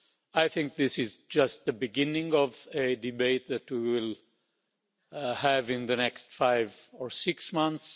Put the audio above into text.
I think this is just the beginning of a debate that will have in the next five or six months.